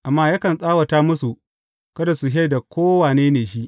Amma yakan tsawata musu, kada su shaida ko wane ne shi.